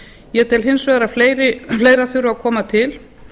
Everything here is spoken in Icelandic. ég tel hins vegar að fleira þurfi að koma til